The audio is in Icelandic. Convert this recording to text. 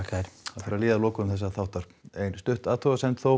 fer að líða að lokum þessa þáttar ein athugasemd þó